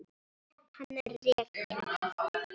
Hann er rekinn.